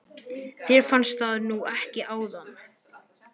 Þér fannst það nú ekki áðan.